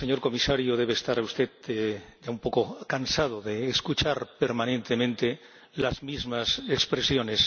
y, señor Comisario, debe de estar usted un poco cansado de escuchar permanentemente las mismas expresiones.